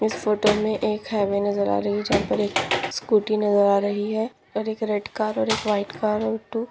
इस फोटो मे एक हाइवे नजर आ रही जहा पर एक स्कूटी नजर आ रही है और एक रेड कार और एक व्हाइट कार और टू --